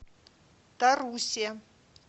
тарусе